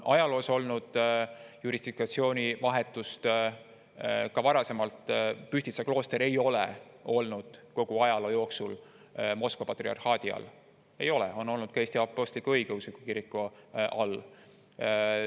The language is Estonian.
Ajaloos on olnud jurisdiktsiooni vahetust: Pühtitsa klooster ei ole kogu ajaloo jooksul olnud Moskva patriarhaadi all, ei ole, ta on olnud ka Eesti Apostlik-Õigeusu Kiriku all.